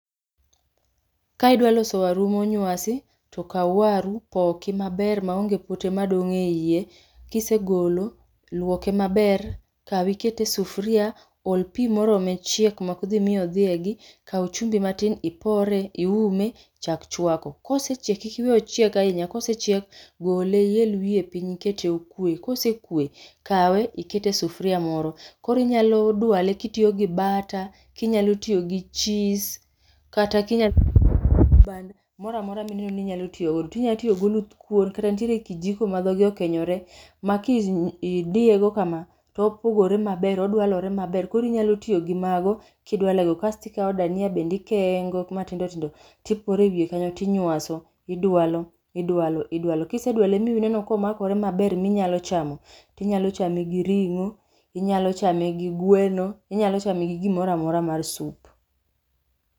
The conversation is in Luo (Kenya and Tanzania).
Ka idwaloso waru monywasi to kaw waru poki maber maonge pote madong'ie iye. Kisegolo, luoke maber, kawe ikete sufria, ol pi morome chiek mokdhi mi odhiegi. Kaw chumbi matin ipore, iume, chak chwako. Kosechiek kik iwe ochieg ahinya, kosechiek gole iel wiye piny ikete okwe. Kosekwe, kawe ikete sufria moro, koro inyalo dwale kitiyo gi bata, kinyalo tiyo gi chis. Kata kinyal band moramora mineno ni inyalo tiyogodo. Inyalo tiyo goluth kuon, kata ntiere kijiko magwa gi okenyore. Ma kidiyego kama topogore maber, odwalore maber. Korinyalo tiyo gi mago kidwalego, kastikawo dania bendikengo matindo tindo tipore wiye kanyo tinywaso, idwalo, idwalo, idwalo. Kisedwalo mineno komakore maber minyalo chamo, tinyalo chame gi ring'o, inyalo chame gi gweno, inyalo chame gi gimoramora mar sup.